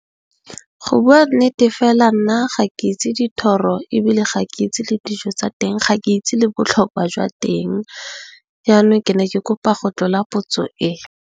Go bua nnete fela nna ga ke itse dithoro ebile, ga ke itse le dijo tsa teng, ga ke itse le botlhokwa jwa teng yanong, ke ne ke kopa go tlola potso e.